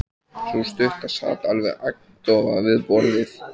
Sú stutta sat alveg agndofa við borðið.